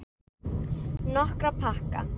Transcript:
Nokkra pakka.